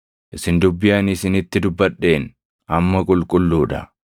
Isin dubbii ani isinitti dubbadheen amma qulqulluu dha.